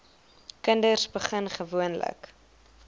kinders begin gewoonlik